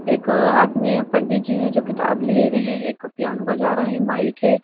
एक हाथ में पंडित जी हैं जो किताब लिए हुए हैं एक पियानो बजा रहे हैं माइक है।